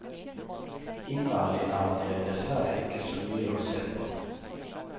Innvendig er det dessverre ikke så mye å se på.